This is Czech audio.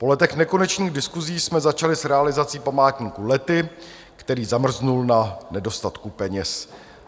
Po letech nekonečných diskusí jsme začali s realizací památníku Lety, který zamrzl na nedostatku peněz.